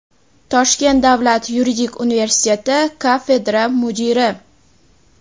Toshkent davlat yuridik universiteti kafedra mudiri;.